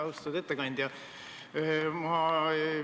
Austatud ettekandja!